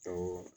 Awɔ